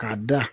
K'a da